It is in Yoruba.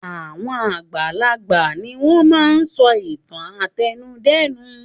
Àwọn àgbàlagbà ni wọ́n máa ń sọ ìtàn àtẹnudẹ́nu.